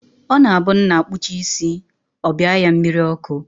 Ọ na-abụ nna kpuchaa isi, ọ bịa ya mmiri ọkụ